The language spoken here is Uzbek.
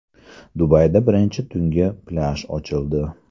Dubayda birinchi tungi plyaj ochildi.